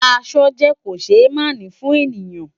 Aṣọ jè kóṣémáni fùn éniyán